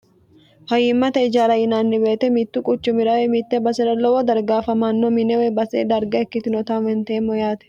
fayiimmate ijara yinanni beete mittu quchumirawe mitte basi'ra lowo dargaafamanno minewe basee darga ikkitinota huwanteemmo yaate